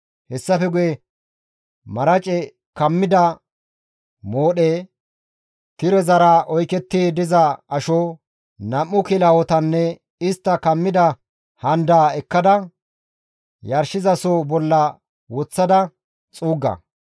Hessafe guye marace kammida moodhe, tirezara oyketti diza asho, nam7u kilahotanne istta kammida handaa ekkada, yarshizasohoza bolla woththada xuugga.